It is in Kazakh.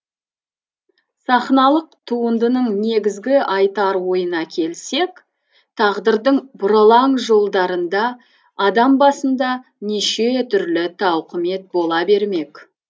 сахналық туындының негізгі айтар ойына келсек тағдырдың бұралаң жолдарында адам басында неше түрлі тауқымет бола бермек